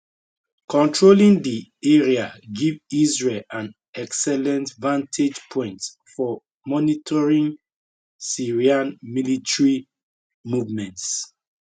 controlling di area give israel an excellent vantage point for monitoring syrian military movements